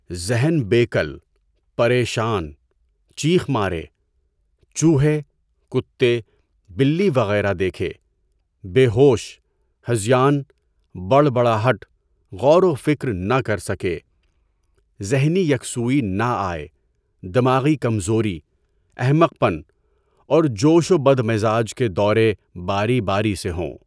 ذہن بے کل، پریشان، چینخ مارے، چوہے، کتے، بلی وغیرہ دیکھے، بیہوش، ہذیان، بڑبڑاہٹ، غور و فکر نہ کر سکے، ذہنی یکسوئی نہ آئے، دماغی کمزوری، احمق پن اور جوش و بدمزاج کے دورے باری باری سے ہوں۔